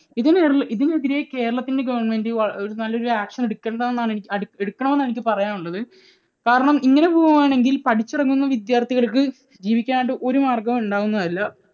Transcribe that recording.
ഇതിനെതിരെ കേരളത്തിൻറെ government വളരെ നല്ല ഒരു action എടുക്കണ്ടതാണ്, എടുക്കണം എന്നാണ് എനിക്ക് പറയാനുള്ളത്. കാരണം ഇങ്ങനെ പോവുകയാണെങ്കിൽ പഠിച്ചിറങ്ങുന്ന വിദ്യാർഥികൾക്ക് ജീവിക്കാൻ ആയിട്ട് ഒരു മാർഗ്ഗവും ഉണ്ടാകുന്നതല്ല.